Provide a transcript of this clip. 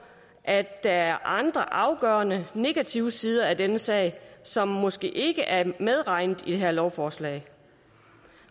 at der er andre afgørende negative sider af denne sag som måske ikke er medregnet i det her lovforslag